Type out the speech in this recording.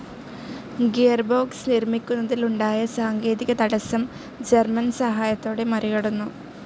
Gearbox നിർമ്മിക്കുന്നതിലുണ്ടായ സാങ്കേതികതടസ്സം German സഹായത്തോടെ മറികടന്നു.